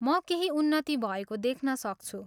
म केही उन्नति भएको देख्न सक्छु।